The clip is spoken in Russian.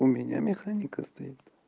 у меня механика стоит